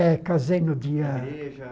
É, casei no dia... Igreja.